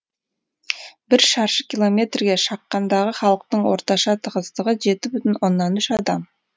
бір шаршы километрге шаққандағы халықтың орташа тығыздығы жеті бүтін оннан үш адам